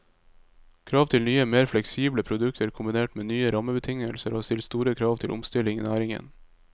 Krav til nye, mer fleksible produkter kombinert med nye rammebetingelser har stilt store krav til omstilling i næringen.